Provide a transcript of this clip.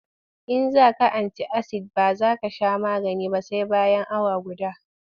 In za ka anti-asid ba za ka sha magani ba sai bayan awa guda.